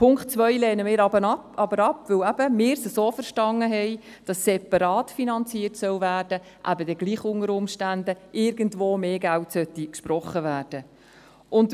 Punkt 2 lehnen wir aber ab, weil wir es eben so verstanden haben, dass es separat finanziert werden soll, eben dann unter Umständen gleich irgendwo mehr Geld gesprochen werden sollte.